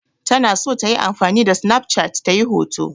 Tana so ta yi amfani da sinaf cat ta yi hoto.